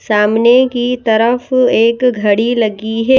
सामने की तरफ एक घड़ी लगी है।